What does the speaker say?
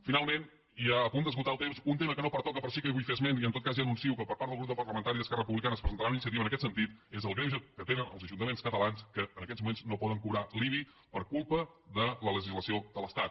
finalment i a punt d’esgotar el temps un tema que no pertoca però sí que en vull fer esment i en tot cas ja anuncio que el grup parlamentari d’esquerra republicana presentarà una iniciativa en aquest sentit és el greuge que tenen els ajuntaments catalans que en aquests moments no poden cobrar l’ibi per culpa de la legislació de l’estat